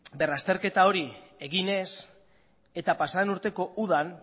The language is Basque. berrazterketa hori egin ez eta pasaden urteko udan